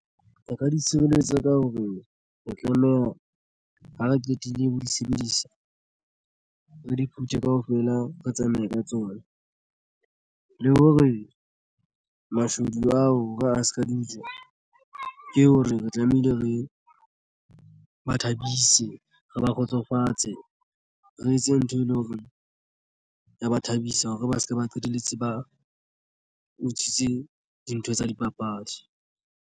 O ka di tshireletsa ka hore re tlaleha ha re qetile ho di sebedisa re di phuthe kaofela re tsamaye ka tsona le hore o mashodu ao re a se ka diutswa ke hore re tlamehile re ba thabise re ba kgotsofatse re etse ntho e leng hore ya ba thabisa hore ba se ke ba qetelletse ba utswitse dintho tsa dipapadi.